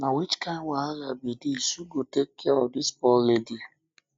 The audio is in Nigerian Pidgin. na which kin wahala be dis who go take care of dis poor lady